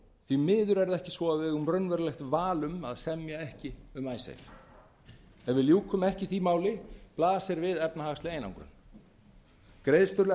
því miður er það ekki svo að við eigum raunverulegt val um að semja ekki um icesave ef við ljúkum ekki því máli blasir við efnahagsleg einangrun